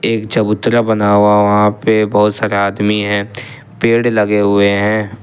एक चबूतरा बना हुआ वहां पे बहुत सारे आदमी हैं पेड़ लगे हुए हैं।